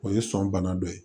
O ye sɔn bana dɔ ye